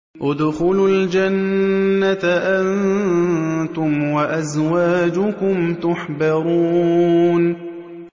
ادْخُلُوا الْجَنَّةَ أَنتُمْ وَأَزْوَاجُكُمْ تُحْبَرُونَ